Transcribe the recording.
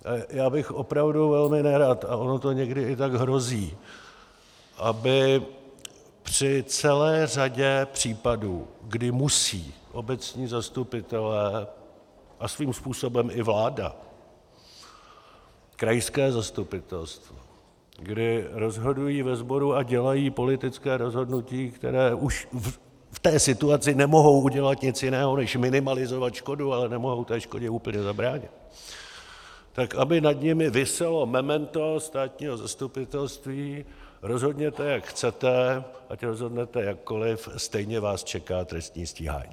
Já bych opravdu velmi nerad, a ono to někdy i tak hrozí, aby při celé řadě případů, kdy musí obecní zastupitelé a svým způsobem i vláda, krajská zastupitelstva, kdy rozhodují ve sboru a dělají politické rozhodnutí, které už... v té situaci nemohou udělat nic jiného než minimalizovat škodu, ale nemohou té škodě úplně zabránit, tak aby nad nimi viselo memento státního zastupitelství "rozhodněte, jak chcete, ať rozhodnete jakkoliv, stejně vás čeká trestní stíhání".